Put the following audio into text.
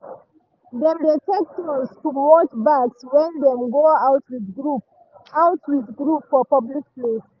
dem dey take turns to watch bags when dem go out with group out with group for public place.